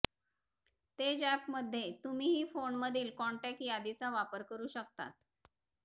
तेज अॅपमध्ये तुम्ही फोनमधील काॅन्टेक्ट यादीचा वापर करू शकतात